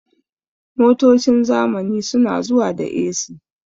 Motocin zamani su na zuwa da "A.C"